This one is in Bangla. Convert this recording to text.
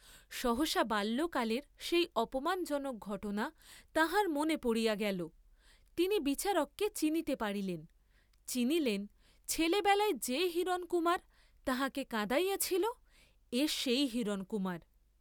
সহসা বাল্যকালের সেই অপমান জনক ঘটনা তাঁহার মনে পড়িয়া গেল, তিনি বিচারককে চিনিতে পারিলেন, চিনিলেন, ছেলেবেলায় যে হিরণকুমার তাঁহাকে কঁদাইয়াছিল, এ সেই হিরণকুমার।